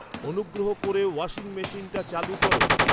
অনুগ্রহ করে ওয়াশিং মেশিনটা চালু করো